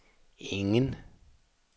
ingen